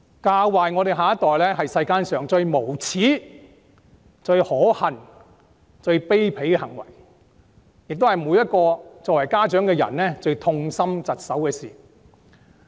教壞下一代，是世間上最無耻、最可恨、最卑鄙的行為，亦是家長最痛心疾首的事。